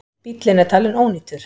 Bíllinn er talin ónýtur.